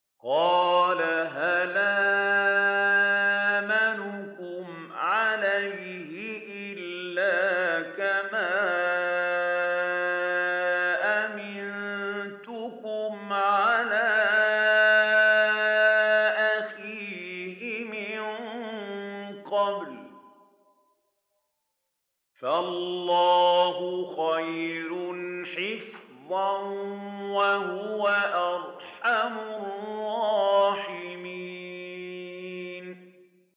قَالَ هَلْ آمَنُكُمْ عَلَيْهِ إِلَّا كَمَا أَمِنتُكُمْ عَلَىٰ أَخِيهِ مِن قَبْلُ ۖ فَاللَّهُ خَيْرٌ حَافِظًا ۖ وَهُوَ أَرْحَمُ الرَّاحِمِينَ